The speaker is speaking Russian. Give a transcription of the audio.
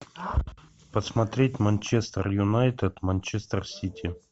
посмотреть манчестер юнайтед манчестер сити